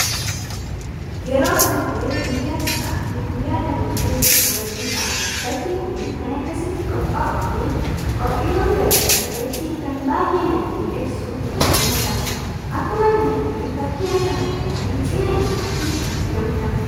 Yeroo baay'ee guyyaa cidhaa fi guyyaa dhaloota itti kabajuudhaf bakki kun kan akkasitti qopha'uu fi qophiiwwaan garagaraa irratti kan baay'ee nama miidhegsuuf hojjetamudha. Akkuma kanallee fakkin ashaangulliti cina isaatti kan argamudha.